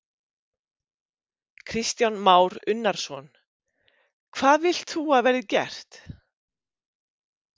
Kristján Már Unnarsson: Hvað vilt þú að verði gert?